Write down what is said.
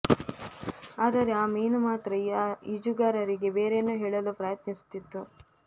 ಆದರೆ ಆ ಮೀನು ಮಾತ್ರ ಆ ಈಜುಗಾರರಿಗೆ ಬೇರೇನೋ ಹೇಳಲು ಪ್ರಯತ್ನಿಸುತ್ತಿತ್ತು